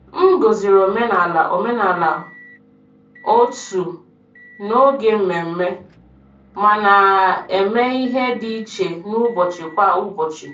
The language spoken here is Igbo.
M gọ̀zìrì omenala omenala òtù n’oge mmemme, ma na-eme ihe dị iche n’ụbọchị kwa ụbọchị.